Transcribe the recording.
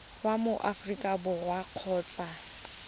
wa mo aforika borwa kgotsa